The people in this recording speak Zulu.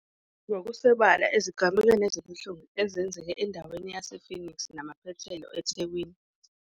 .ngokusobala ezigamekweni ezibuhlungu ezenzeke endaweni yase-Phoenix namaphethelo eThekwini.